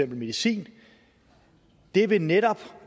medicin det vil netop